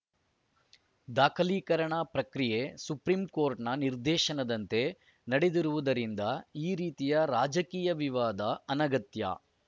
ದಾಖಲೀಕರಣ ಪ್ರಕ್ರಿಯೆ ಸುಪ್ರಿಂಕೋರ್ಟ್‌ನ ನಿರ್ದೇಶನದಂತೆ ನಡೆದಿರುವುದರಿಂದ ಈ ರೀತಿಯ ರಾಜಕೀಯ ವಿವಾದ ಅನಗತ್ಯ